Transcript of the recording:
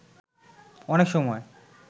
অনেক সময়